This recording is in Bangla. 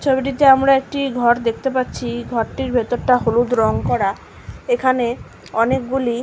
ছবিটিতে আমরা একটি ঘর দেখতে পাচ্ছি ঘরটির ভেতরটা হলুদ রং করা এখানে অনেকগুলি--